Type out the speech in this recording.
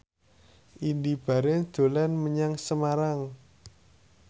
Indy Barens dolan menyang Semarang